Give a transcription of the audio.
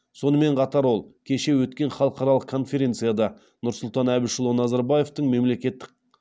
сонымен қатар ол кеше өткен халықаралық конференцияда нұрсұлтан әбішұлы назарбаевтың мемлекеттік